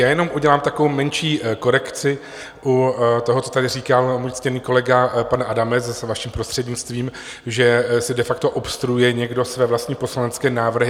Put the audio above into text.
Já jenom udělám takovou menší korekci u toho, co tady říkal můj ctěný kolega pan Adamec, zase vaším prostřednictvím, že si de facto obstruuje někdo své vlastní poslanecké návrhy.